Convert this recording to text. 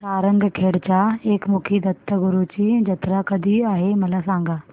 सारंगखेड्याच्या एकमुखी दत्तगुरूंची जत्रा कधी आहे मला सांगा